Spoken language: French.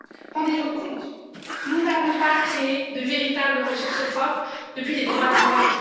Rendez vous compte nous n'avons pas créé de véritable ressource propre depuis les droits de douane.